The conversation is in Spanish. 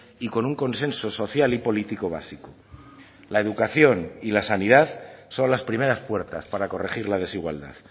y con un consenso social y político básico la educación y la sanidad son las primeras puertas para corregir la desigualdad